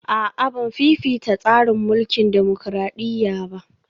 A'a Ban fifita tsarin mulkin dimokradiyya ba